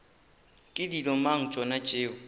ke dilo mang tšona tšeo